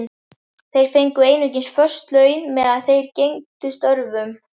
Þeir fengu einungis föst laun meðan þeir gegndu störfunum.